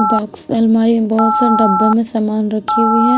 Box अलमारी में बहुत से डब्बे में समान रखी हुई है।